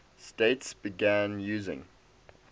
states began using